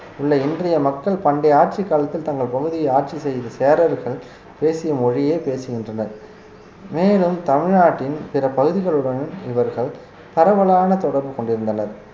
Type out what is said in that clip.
உள்ள இன்றைய மக்கள் பண்டைய ஆட்சிக் காலத்தில் தங்கள் பகுதியை ஆட்சி செய்த சேரர்கள் பேசிய மொழியே பேசுகின்றனர் மேலும் தமிழ்நாட்டின் பிற பகுதிகளுடன் இவர்கள் பரவலான தொடர்பு கொண்டிருந்தனர்